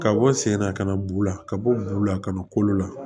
Ka bɔ sen na ka na b'u la ka bɔ bu la kana kolo la